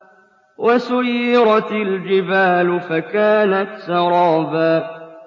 وَسُيِّرَتِ الْجِبَالُ فَكَانَتْ سَرَابًا